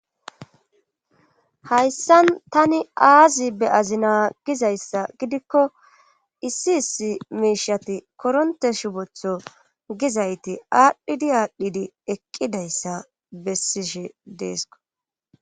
Hayssan tani aazi be azi naa gizayssa gidikko issi issi miishati koronte shubotho gizayti aadhdhidi aadhdhidi eqqidayssa bessishe deesko